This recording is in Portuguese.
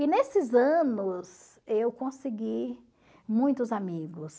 E nesses anos, eu consegui muitos amigos.